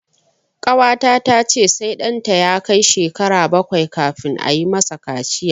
Ƙawata ta ce sai ɗanta ya kai shekara bakwai kafin ayi ma sa kaciya